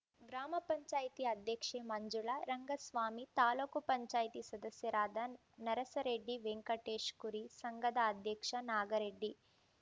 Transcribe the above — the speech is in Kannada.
ಗ್ರಾಮ ಪಂಚಾಯತತಿ ಅಧ್ಯಕ್ಷೆ ಮಂಜುಳಾ ರಂಗಸ್ವಾಮಿ ತಾಲೂಕ್ ಪಂಚಾಯತಿ ಸದಸ್ಯರಾದ ನರಸರೆಡ್ಡಿ ವೆಂಕಟೇಶ್ ಕುರಿ ಸಂಘದ ಅಧ್ಯಕ್ಷ ನಾಗರೆಡ್ಡಿ